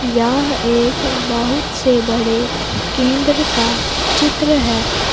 यह एक बहुत से बडे केन्द्र का चित्र है।